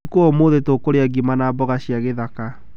Ũtuko wa ũmũthĩ tũkũrĩa ngima na mboga cia gĩthaka.